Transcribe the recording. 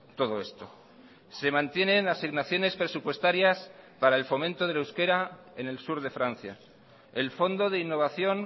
todo esto se mantienen asignaciones presupuestarias para el fomento del euskera en el sur de francia el fondo de innovación